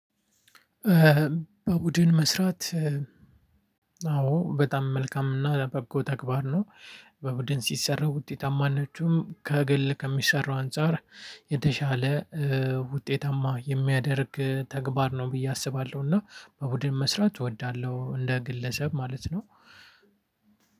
በቡድን መስራት አዎ በጣም መልካም እና በጎ ተግባር ነው። በቡድን ሲሰራ ውጤታማ ናችሁ ከግል ከሚሰራው አንፃር የተሻለ ውጤታማ የሚያደርግ ተግባር ነው ብዬ አስባለሁ። እና በቡድን መስራት እወዳለሁ እንደ ግለሰብ ማለት ነው።